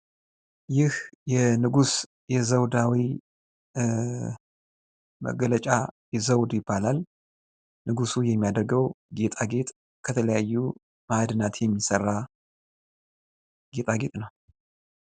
ይህ የንጉስ የዘውዳዊ መገለጫ ዘውድ ይባላል። ንጉሱ የሚያደረገው ጌጣጌጥ ከተለያዩ ማእድናት የሚሰራ ጌጣጌጥ ነው።